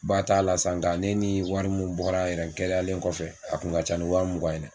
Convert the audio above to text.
Ba t'a la san nka ne ni wari minnu bɔra yɛrɛ n kɛnɛyalen kɔfɛ a kun ka ca ni wa mugan ye dɛ.